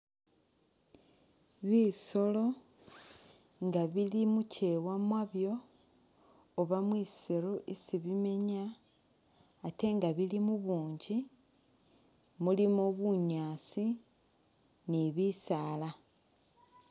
Bisolo inga bili mukyewa mwabyo Oba mwisiru isi bimenya ate nga bili mubunji mulimo bunyasi ni bisala.